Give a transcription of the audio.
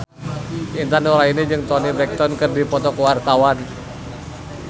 Intan Nuraini jeung Toni Brexton keur dipoto ku wartawan